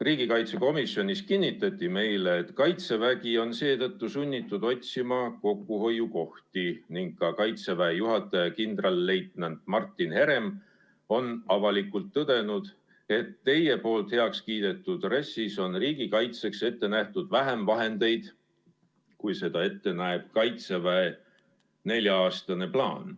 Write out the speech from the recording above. Riigikaitsekomisjonis kinnitati meile, et Kaitsevägi on seetõttu sunnitud otsima kokkuhoiukohti, ning ka Kaitseväe juhataja kindralleitnant Martin Herem on avalikult tõdenud, et teie poolt heaks kiidetud RES-is on riigikaitseks ette nähtud vähem vahendeid, kui seda ette näeb Kaitseväe nelja-aastane plaan.